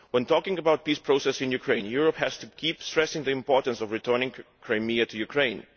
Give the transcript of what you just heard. When talking about the peace process in Ukraine, Europe has to keep stressing the importance of returning Crimea to Ukraine.